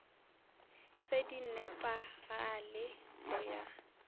se di nepagale go ya